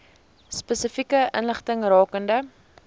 spesifieke inligting rakende